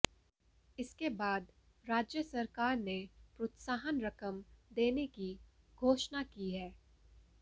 इसके बाद राज्य सरकार ने प्रोत्साहन रकम देने की घोषणा की है